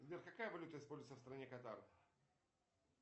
сбер какая валюта используется в стране катар